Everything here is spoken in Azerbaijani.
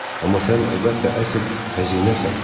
Amma sən əlbəttə əsl xəzinəsən.